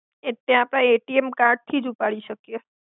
એટ્લે આપડે ATM card થી જ ઉપાડી સકિએ